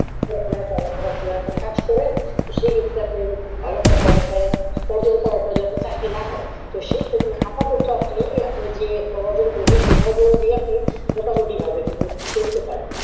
করেন, তো সেই ক্ষেত্রে আপনি একটি ভালো চাকরি না হয় তো সেই ক্ষেত্রে আপাতত আপনি যে একটা অর্জন করেছেন সেই অর্জন দিয়ে মোটামুটি ভাবে কিন্তু চলতে পারবেন,